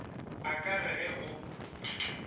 a ka re ge o